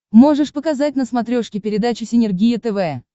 можешь показать на смотрешке передачу синергия тв